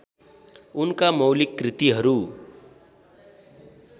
उनका मौलिक कृतिहरू